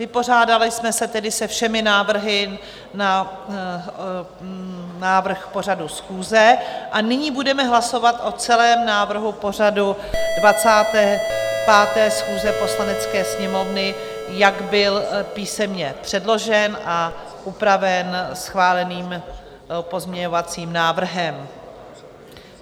Vypořádali jsme se tedy se všemi návrhy na návrh pořadu schůze a nyní budeme hlasovat o celém návrhu pořadu 25. schůze Poslanecké sněmovny, jak byl písemně předložen a upraven schváleným pozměňovacím návrhem.